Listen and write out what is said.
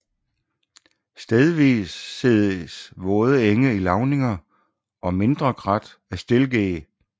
Stedvis ses våde enge i lavninger og mindre krat af stilkeg